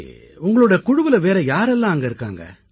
உங்களுடைய குழுவில் வேறு யாரெல்லாம் அங்கே இருக்கிறார்கள்